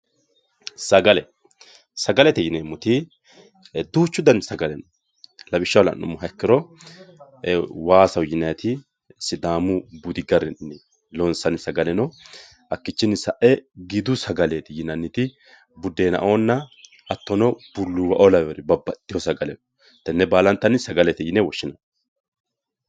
sagale sagalete yineemmoti duuchu dani sagale no lawishshaho la'nummoha iikkiro waasaho yinanniti sidaamaho budu sagale no gidu sagale no hattono bulluuwa"o lawinori babbaxxitino sagale no tenne baalanta sagalete yine woshshsinanni